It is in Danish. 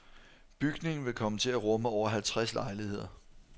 Bygningen vil komme til at rumme over halvtreds lejligheder.